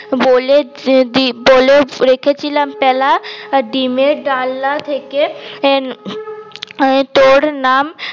বলে বলে রেখেছিলাম প্যালা ডিমের ডালনা থেকে তোর নাম